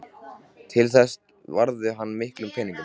Til þessa varði hann miklum peningum.